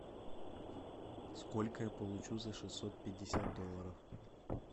сколько я получу за шестьсот пятьдесят долларов